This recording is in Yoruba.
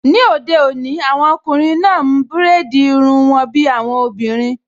Ní òde òní, àwọn ọkùnrin náà n búrèdì irun wọn bí àwọn obìnrin